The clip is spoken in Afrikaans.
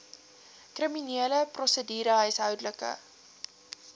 kriminele prosedure huishoudelike